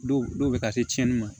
Dɔw dɔw bɛ ka se tiɲɛni ma